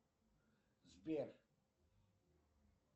сбер